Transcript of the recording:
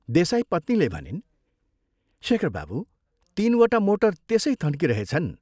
" देसाईपत्नीले भनिन्, " शेखर बाबू, तीनवटा मोटर त्यसै थन्किरहेछन्।